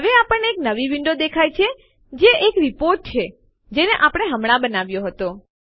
હવે આપણને એક નવી વિન્ડો દેખાય છે જે એક રીપોર્ટ છે જેને આપણે હમણાં બનાવ્યો હતો